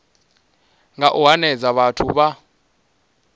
nga u hanedza vhathu vha